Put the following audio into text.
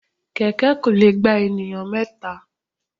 Kẹ̀kẹ́ kò lè gba ènìyàn mẹ́ta.